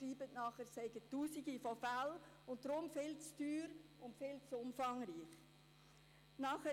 Dann schreiben sie, es seien tausende Fälle und deshalb viel zu teuer und zu umfangreich.